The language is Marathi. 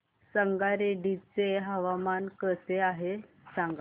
संगारेड्डी चे हवामान कसे आहे सांगा